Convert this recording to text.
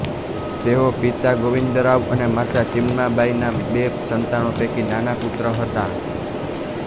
તેઓ પિતા ગોવિંદરાવ અને માતા ચિમનાબાઈના બે સંતાનો પૈકી નાના પુત્ર હતા